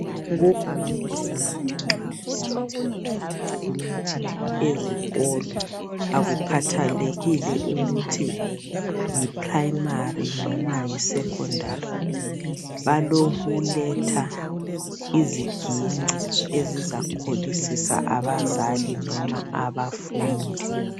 Kuvamile ukuthi nxa kusenziwa imicimbi ezikolo akukhathalekile ukuthi yi primary noma yi secondary, balokuletha iziginci ezizakholisisa abazali noma abafundi.